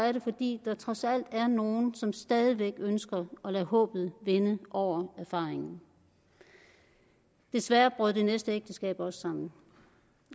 er det fordi der trods alt er nogen som stadig væk ønsker at lade håbet vinde over erfaringen desværre brød det næste ægteskab også sammen